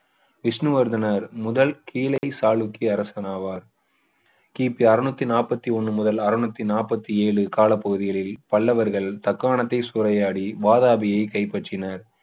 விஷ்ணுவர்தனர் முதல் கீழை சாளுக்கிய அரசரன் ஆவார் கிபி அறுநூற்று நாற்பது ஒன்று முதல் அறுநூற்று நாற்பது ஏழு காலப்பகுதிகளில் பல்லவர்கள் தக்காணத்தை சூறையாடி வாதாபியை கைப்பற்றினர்